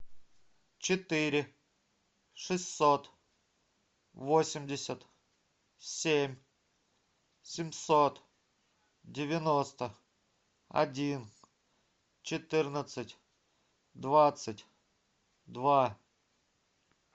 четыре шестьсот восемьдесят семь семьсот девяноста один четырнадцать двадцать два